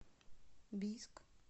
бийск